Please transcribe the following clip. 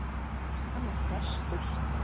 Hann er prestur!